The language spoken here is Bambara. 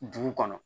Dugu kɔnɔ